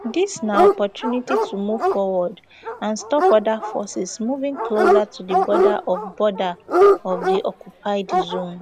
dis na opportunity to move forward and stop oda forces moving closer to di border of border of di occupied zone